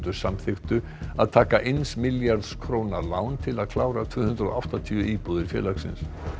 samþykktu að taka eins milljarðs króna lán til að klára tvö hundruð og áttatíu íbúðir félagsins